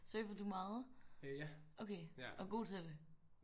Surfede du meget? Okay og er god til det?